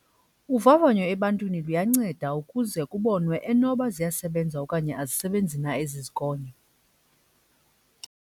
Uvavanyo ebantwini luyanceda ukuze kubonwe enoba ziyasebenza okanye azisebenzi na ezi zigonyo.